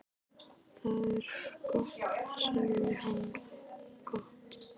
Það er gott sagði hann, gott